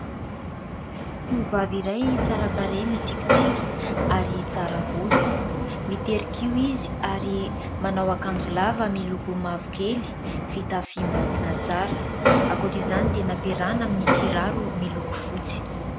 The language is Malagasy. Tovovavy iray tsara tarehy mitsikitsiky ary tsara volo, mitery kiho izy ary manao akanjo lava miloko mavokely, fitafy maontina tsara, ankoatr'izany dia nampiarahana amin'ny kiraro miloko fotsy.